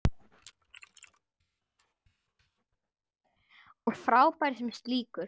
Og frábær sem slíkur.